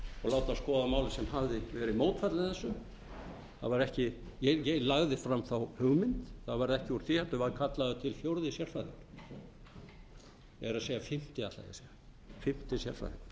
og láta hann skoða málið sem hafði verið mótfallinn þessu það var ekki ég lagði fram þá hugmynd það varð ekki úr því heldur var kallaður til fjórði sérfræðingurinn öllu heldur sá fimmti ég ítreka það